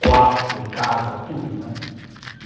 quarto, casa, tudo, né.